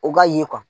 O ka ye